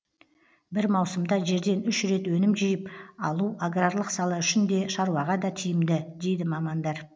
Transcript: бір маусымда жерден үш рет өнім жиып алу аграрлық сала үшін де шаруаға да тиімді дейді мамандар